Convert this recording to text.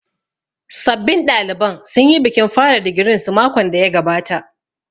Sabbin ɗaliban sun yi bikin fara digirin su makon da ya gabata